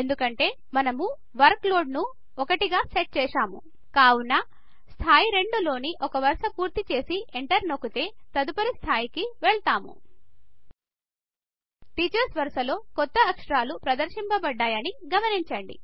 ఎందుకంటే మనము వర్క్లోడ్ ను ఒకటికి సెట్ చేశాము కావున స్థాయి 2 లోని ఒక వరస పూర్తి చేసి ఎంటర్ నోక్కుతే తదుపరి స్థాయికి వెళ్ళుతాము టీచర్స్ వరస లో కొత్త అక్షరాలు ప్రదర్శించబడ్డయని గమనించండి